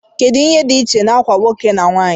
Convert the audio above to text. kedu ihe dị iche na uwe nwoke na nwanyị